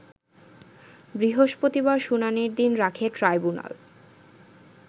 বৃহস্পতিবার শুনানির দিন রাখে টাইব্যুনাল